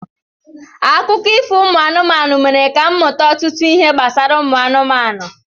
Akụkọ ifo ụmụ anụmanụ mere ka m mmụta ọtụtụ ihe gbasara ụmụ anụmanụ.